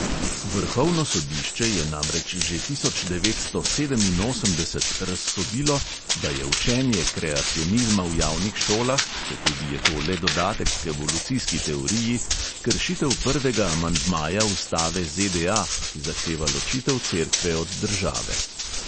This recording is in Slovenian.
Vrhovno sodišče je namreč že tisoč devetsto sedeminosemdeset razsodilo, da je učenje kreacionizma v javnih šolah, četudi je to le dodatek k evolucijski teoriji, kršitev prvega amandmaja ustave ZDA, ki zahteva ločitev cerkve od države.